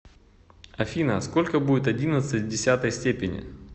афина сколько будет одиннадцать в десятой степени